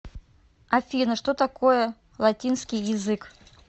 афина что такое латинский язык